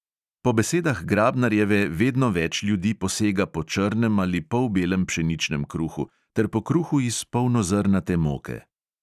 Po besedah grabnarjeve vedno več ljudi posega po črnem ali polbelem pšeničnem kruhu ter po kruhu iz polnozrnate moke.